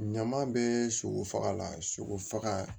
Ɲaman bɛ sogo faga la sogo faga